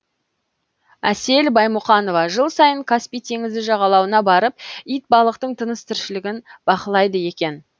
әсел баймұқанова жыл сайын каспий теңізі жағалауына барып итбалықтың тыныс тіршілігін бақылайды екен